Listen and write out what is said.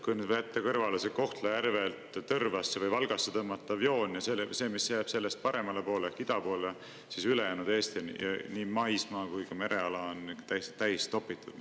Kui jätta kõrvale see Kohtla-Järvelt Tõrvasse või Valgasse tõmmatav joon ja see, mis jääb sellest paremale poole, ida poole, siis ülejäänud Eestis on nii maismaa kui ka mereala täiesti täis topitud.